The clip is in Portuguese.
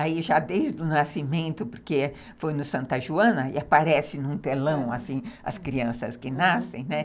Aí, já desde o nascimento, porque foi no Santa Joana, e aparece num telão, assim, as crianças que nascem, né?